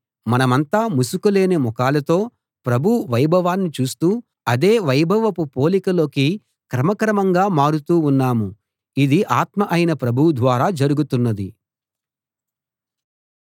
మనమంతా ముసుకు లేని ముఖాలతో ప్రభువు వైభవాన్ని చూస్తూ అదే వైభవపు పోలిక లోకి క్రమక్రమంగా మారుతూ ఉన్నాము ఇది ఆత్మ అయిన ప్రభువు ద్వారా జరుగుతున్నది